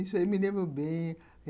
Isso eu me lembro bem...